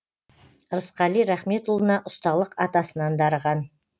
ырысқали рахметұлына ұсталық атасынан дарыған